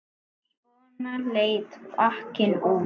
Svona leit pakkinn út.